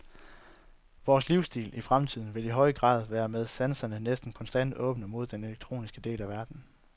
Vores livsstil i fremtiden vil i høj grad være med sanserne næsten konstant åbne mod den elektroniske del af verden.